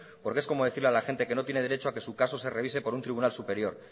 porque es como decir a la gente que no tiene derecho a que su caso se revise por un tribunal superior